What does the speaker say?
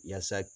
Yaasa